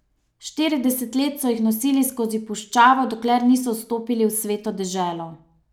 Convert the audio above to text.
Štirideset let so jih nosili skozi puščavo, dokler niso vstopili v Sveto deželo.